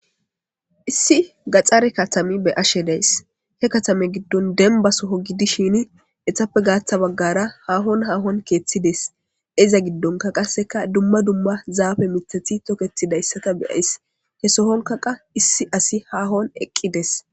issi gaxxare katame be ashe days he katame giddon denbasoho gidishin etappe gaatha baggara haahon haahon keeththides iza giddonka qasseka dumma dumma zaabe mithathi toketidayssata beyays he sohonkaqa issi asi haahon eqqides